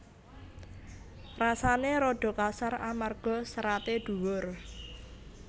Rasané rada kasar amarga seraté dhuwur